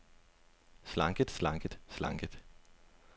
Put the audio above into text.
slanket slanket slanket